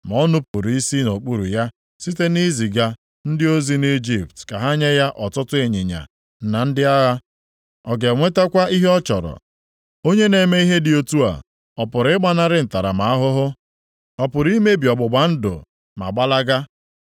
Ma o nupuru isi nʼokpuru ya site nʼiziga ndị ozi nʼIjipt ka ha nye ya ọtụtụ ịnyịnya na ndị agha. Ọ ga-enwetakwa ihe ọ chọrọ? Onye na-eme ihe dị otu a, ọ pụrụ ịgbanarị ntaramahụhụ? Ọ pụrụ imebi ọgbụgba ndụ ma gbalaga?